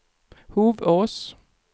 Hovås